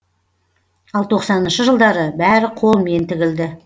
ал тоқсаныншы жылдары бәрі қолмен тігілді